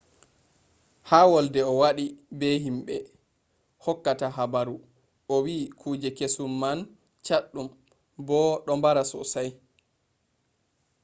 ha wolde o waɗi be himɓe hokkata habaru o wi kuje kesum man chaɗɗum bo ɗo mbara sosai